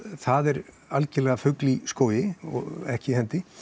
það er algjörlega fugl í skógi og ekki hendi